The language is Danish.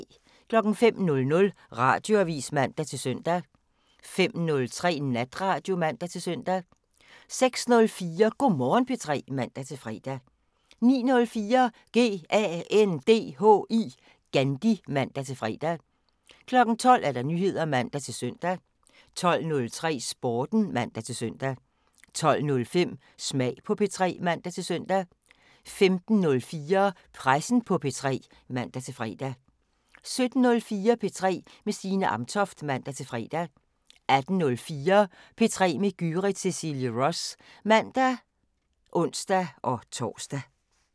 05:00: Radioavisen (man-søn) 05:03: Natradio (man-søn) 06:04: Go' Morgen P3 (man-fre) 09:04: GANDHI (man-fre) 12:00: Nyheder (man-søn) 12:03: Sporten (man-søn) 12:05: Smag på P3 (man-søn) 15:04: Pressen på P3 (man-fre) 17:04: P3 med Signe Amtoft (man-fre) 18:04: P3 med Gyrith Cecilie Ross (man og ons-tor)